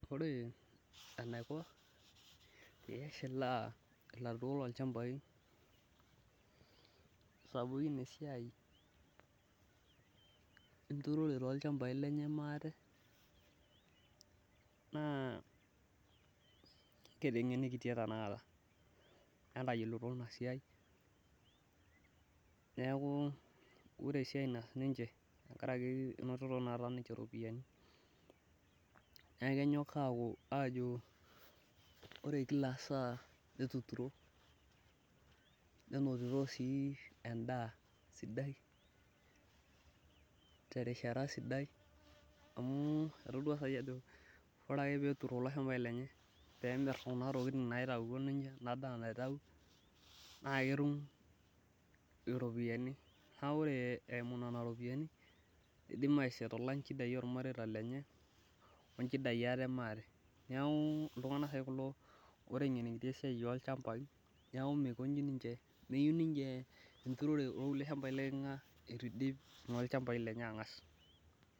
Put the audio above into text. ore enaiko pee eshilaa ilarikok loo ilchambai, sapukin esiai enturore enye maate naa ketengenikitia tenakata entayiolito inasiai neeku ore esiai naas niche tenkaraki, enoto tenakata niche iropiyiani, neeku kenyok ore kila saa etuturo, nenotito sii edaa sidaii terishata sidai , neeku ketum iropiyiani naretie imareita lenye, neeku iltunganak kulo otengenikitia enturore oo ilchambai lenye neeku meyieu niche olkulie shambai leekinga etu idip ikulenye.